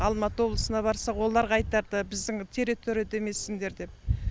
алматы облысына барсақ оларға айтады біздің территорияда емессіңдер деп